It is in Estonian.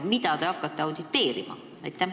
Mida te hakkate auditeerima?